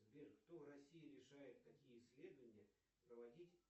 сбер кто в россии решает какие исследования проводить